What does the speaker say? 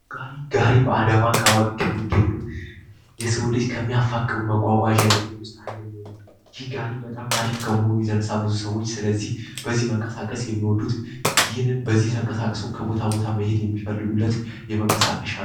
ጋሪ ጋሪ በአዳማ ከተማ የሚገኙ የሰው ልጅ የሚያፈቁር መጎጎጆች ውስጥ አንደኛው ነው ጋሪ በጣም አሪፍ ከመሆኑ የተነሳ ብዙ ሰዎች በዚህ ተንቀሳቅሰው ከቦታ ቦታ መንቀሳቀስ የሚፈልጉበት መንቀሳቀሻ ነው።